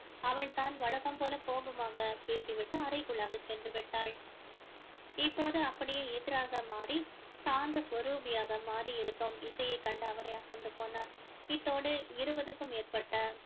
அவள் தான் வழக்கம் போல கோபமாக பேசிவிட்டு அறைக்குள்ளாக சென்று விட்டாள் இப்போது அப்படியே எதிராக மாறி சாந்த சொரூபியாக மாறி இருக்கும் இசையை கண்டு அவரே அசந்து போனார் இத்தோடு இருபதுக்கும் பேற்பட்ட